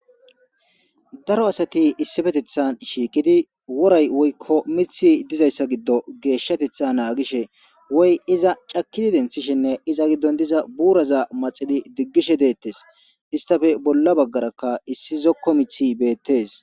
daro asati issipetethan shiikidi woray woykko mithi dizayssa giddo geeshshatetha naagishe woy iza cakidi denthishinne iza giddon diza buuraza maxidi diggishe deettes istafe bolla baggarakka issi zokko mithi beettes